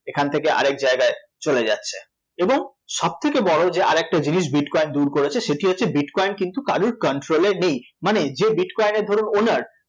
সেখান থেকে আরেক জায়গায় চলে যাচ্ছে, এবং সবথেকে বড় যে আরেকটা জিনিস bitcoin দূর করেছে সেটি হচ্ছে bitcoin কিন্তু কারোর control এ নেই মানে যে bitcoin এর ধরুন owner